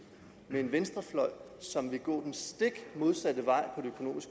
med en venstrefløj som vil gå den stik modsatte vej